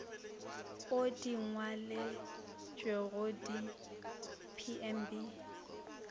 o di ngwaletšwego di pmb